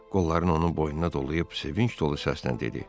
Qollarını onun boynuna dolayıb sevinç dolu səslə dedi: